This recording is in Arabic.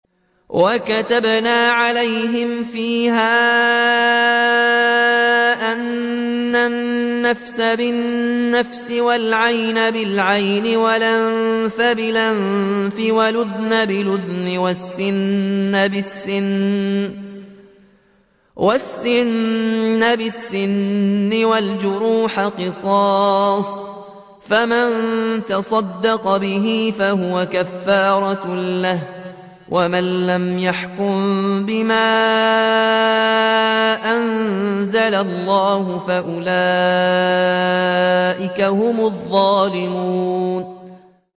وَكَتَبْنَا عَلَيْهِمْ فِيهَا أَنَّ النَّفْسَ بِالنَّفْسِ وَالْعَيْنَ بِالْعَيْنِ وَالْأَنفَ بِالْأَنفِ وَالْأُذُنَ بِالْأُذُنِ وَالسِّنَّ بِالسِّنِّ وَالْجُرُوحَ قِصَاصٌ ۚ فَمَن تَصَدَّقَ بِهِ فَهُوَ كَفَّارَةٌ لَّهُ ۚ وَمَن لَّمْ يَحْكُم بِمَا أَنزَلَ اللَّهُ فَأُولَٰئِكَ هُمُ الظَّالِمُونَ